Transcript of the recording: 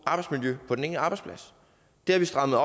arbejdsmiljø på den enkelte arbejdsplads det strammer